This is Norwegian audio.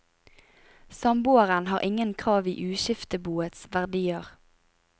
Samboeren har ingen krav i uskifteboets verdier.